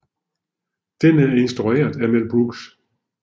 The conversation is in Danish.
Den er instrueret af Mel Brooks